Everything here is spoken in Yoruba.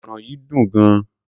Ogbono yìí dùn gan.